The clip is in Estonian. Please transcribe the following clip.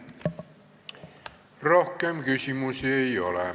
Rohkem küsimusi ei ole.